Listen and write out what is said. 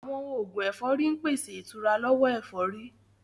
Àwọn oògùn ẹ̀fọ́rí ń pèsè ìtura lọ́wọ́ ẹ̀fọ́rí